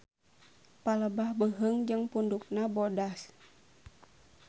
Palebah beuheung jeung pundukna bodas.